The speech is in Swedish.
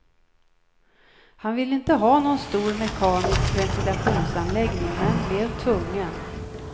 Han ville inte ha någon stor mekanisk ventilationsanläggning, men blev tvungen.